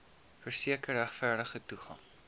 verseker regverdige toegang